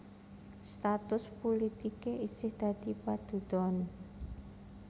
Status pulitiké isih dadi padudon